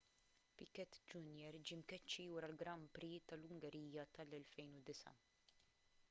piquet jr ġie mkeċċi wara l-grand prix tal-ungerija tal-2009